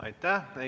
Aitäh!